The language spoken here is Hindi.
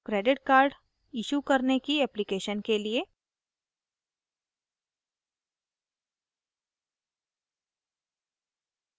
credit card issue करने की application के लिए